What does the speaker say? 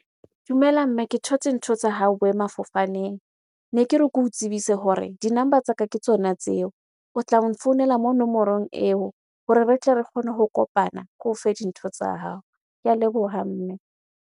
Dumela mme, ke thotse ntho tsa hao boemafofaneng. Ne ke re ke o tsebise hore di-number tsa ka ke tsona tseo. O tla mo nfounela mo nomorong eo hore re tle re kgone ho kopana, ko fe dintho tsa hao. Ke a leboha mme.